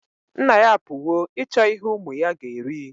Nna-ya apuwo ichọ ihe umu-ya ga eri